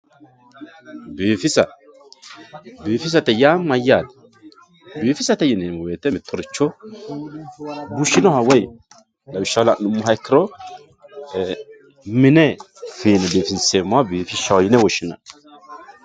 biifisa biifisate yaa mayyate? biifisate yineemmo wote mittoricho bushinoha woy lawishshaho la'nummoha ikkiro mine fiine biifinseemmoha biifishshaho yine woshshinanni.